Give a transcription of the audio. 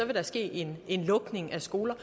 der ske en lukning af skoler